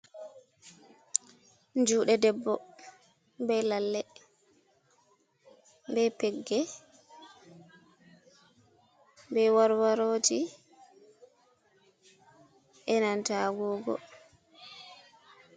Juɗe debbo be lalle, be pegge, be warwaroji, enanta agogo.